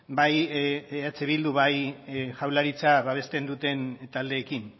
bai eh bildu bai jaurlaritzak babesten duten taldeekin